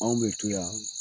Anw be to yan